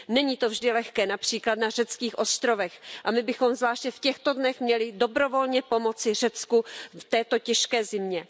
Není to vždy lehké, například na řeckých ostrovech, a my bychom zvláště v těchto dnech měli dobrovolně pomoci Řecku v této těžké zimě.